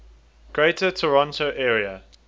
greater toronto area